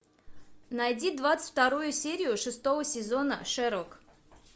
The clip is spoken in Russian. найди двадцать вторую серию шестого сезона шерлок